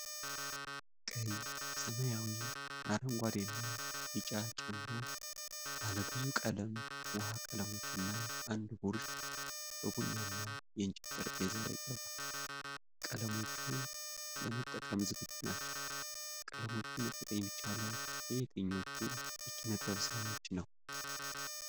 ቀይ፣ ሰማያዊ፣ አረንጓዴና ቢጫ ጨምሮ ባለብዙ ቀለም ውሃ-ቀለሞችና አንድ ብሩሽ በቡናማ የእንጨት ጠረጴዛ ላይ ቀርቧል። ቀለሞቹ ለመጠቀም ዝግጁ ናቸው። ቀለሞቹን መጠቀም የሚቻለው ለየትኞቹ የኪነ ጥበብ ሥራዎች ነው?